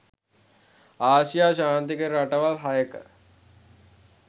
ආසියා ශාන්තිකර රටවල් හයක